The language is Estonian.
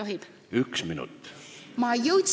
Kas üks minut sobib?